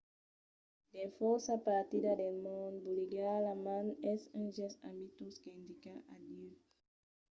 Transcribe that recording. dins fòrça partidas del mond bolegar la man es un gèst amistós qu'indica adieu.